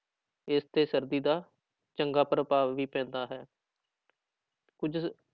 ਇਸ ਤੇ ਸਰਦੀ ਦਾ ਚੰਗਾ ਪ੍ਰਭਾਵ ਵੀ ਪੈਂਦਾ ਹੈ ਕੁੱਝ